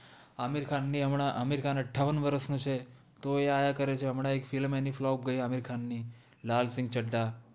આમિર ખાન નિ અમ્ન અમિર ખાન અત્ત્થાવન વરસ નોછે તોએ આ આ કરે છે અમ્ન એક ફ઼ઇલ્મ ફ઼લોપ ગૈ લાલ સિન્ઘ ચદ્દ્અ